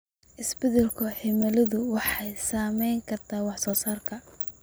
Isbeddelka cimiladu waxay saameyn kartaa wax soo saarka.